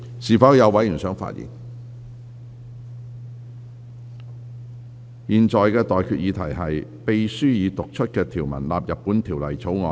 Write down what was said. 我現在向各位提出的待決議題是：秘書已讀出的條文納入本條例草案。